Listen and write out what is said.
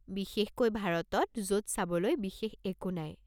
বিশেষকৈ ভাৰতত য'ত চাবলৈ বিশেষ একো নাই!